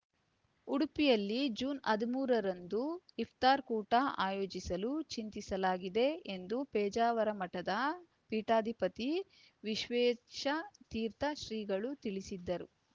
ಉಡುಪಿಯಲ್ಲಿ ಜೂನ್ ಹದಿಮೂರರಂದು ಇಫ್ತಾರ್‌ ಕೂಟ ಆಯೋಜಿಸಲು ಚಿಂತಿಸಲಾಗಿದೆ ಎಂದು ಪೇಜಾವರ ಮಠದ ಪೀಠಾಧಿಪತಿ ವಿಶ್ವೇಶ ತೀರ್ಥ ಶ್ರೀಗಳು ತಿಳಿಸಿದರು